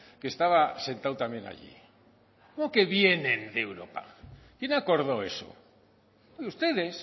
que estaba sentado también allí cómo que vienen de europa quién acordó eso ustedes